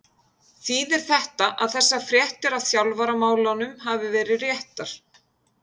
Þýðir þetta að þessar fréttir af þjálfaramálunum hafi verið réttar?